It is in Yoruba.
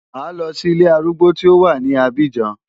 Màá lọ sí ilé arúgbó tí ó wà ní Abidjan.